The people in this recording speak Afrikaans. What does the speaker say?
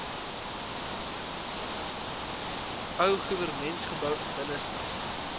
ou goewermentsgebou binnestap